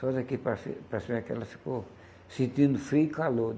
Só daqui para cima para cima é que ela ficou sentindo frio e calor.